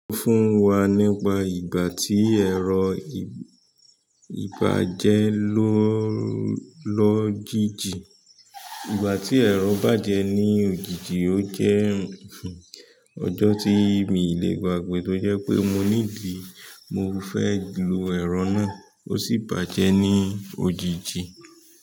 Sọ fún wa nípa ìgbà tí ẹ̀rọ ìbàjẹ́ lọ́ jiji igbati ẹ̀rọ bàjẹ́ ní òjijì jẹ́ ọjọ́ tí mi ò lè gbàgbé, toje pé mo need, mo fẹ́ lò ẹ̀rọ na, ó sì bàjẹ́ ní òjijì.